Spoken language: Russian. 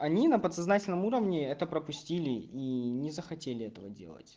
они на подсознательном уровне это пропустили и не захотели этого делать